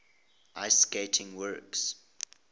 ice skating works